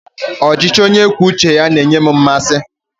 Ọchịchị onye kwuo uche ya na-enye m mmasị.